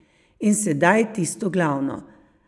In sedaj tisto glavno.